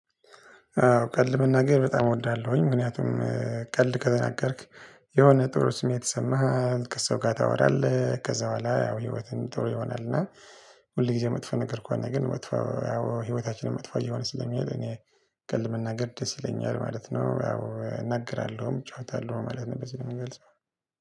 አዎ ቀልድ መናገር በጣም እወዳለሁኝ ምክንያቱም ቀልድ ከተናገርክ የሆነ ጥሩ ስሜት ይሰማሃል ከሰው ጋር ታወራለህ ከዛ በኋላ ያው ህይወትን ጥሩ ይሆናልና። ሁል ጊዜ መጥፎ ነገር ከሆነ ግን መጥፎ ያው ህይወታችንን መጥፎ እየሆነ ስለሚሄድ። እኔ ቀልድ መናገር ደስ ይለኛል ማለት ነው። ያው እናገራለሁም እጫወታለሁ ማለት ነው በዚህ ነው የምገልጸው።